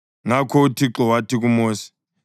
Ngakho uThixo wathi kuMosi,